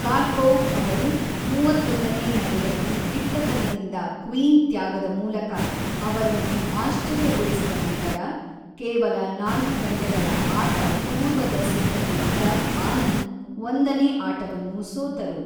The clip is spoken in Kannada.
ಕಾರ್ಪೋವ್ ಅವರು ಮೂವತ್ತೊಂದನೇ ನಡೆಯಲ್ಲಿ ದಿಟ್ಟತನದಿಂದ ಕ್ವೀನ್ ತ್ಯಾಗದ ಮೂಲಕ ಅವರನ್ನು ಆಶ್ಚರ್ಯಗೊಳಿಸಿದ ನಂತರ, ಕೇವಲ ನಾಲ್ಕು ಗಂಟೆಗಳ ಆಟ-ಪೂರ್ವದ ಸಿದ್ಧತೆಯಿದ್ದ ಆನಂದ್ ಒಂದನೇ ಆಟವನ್ನು ಸೋತರು.